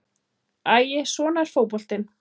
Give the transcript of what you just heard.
Æi, svona er fótboltinn.